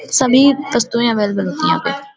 सभी वस्तुएँ अवेलेबल होती है यहाँ पर ।